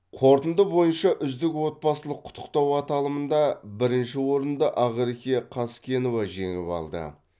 қорытынды бойынша үздік отбасылық құттықтау аталымында бірінші орынды ақерке қазкенова жеңіп алды